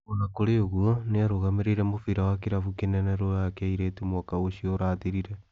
O na kũrĩ ũguo, nĩ aarũgamĩrĩire mũbira wa kirabũ kinene rũraya kĩa airĩtu mwaka ũcio ũrathirire.